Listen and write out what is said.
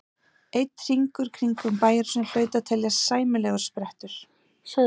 Einn hringur kringum bæjarhúsin hlaut að teljast sæmilegur sprettur.